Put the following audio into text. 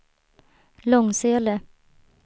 Långsele